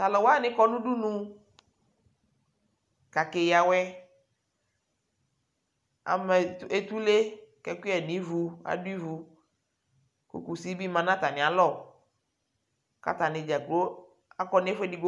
Tʋ alʋ wanɩ kɔ nʋ udunu kʋ akeyǝ awɛ Ama et etule kʋ ɛkʋyɛ yǝ nʋ ivu, adʋ ivu kʋ kusi bɩ ma nʋ atamɩalɔ kʋ atanɩ dza kplo akɔ nʋ ɛfʋ edigbo